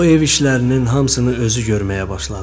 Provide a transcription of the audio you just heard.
O ev işlərinin hamısını özü görməyə başladı.